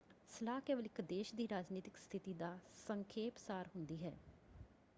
ਸਲਾਹ ਕੇਵਲ ਇੱਕ ਦੇਸ਼ ਦੀ ਰਾਜਨੀਤਕ ਸਥਿਤੀ ਦਾ ਸੰਖੇਪ ਸਾਰ ਹੁੰਦੀ ਹੈ।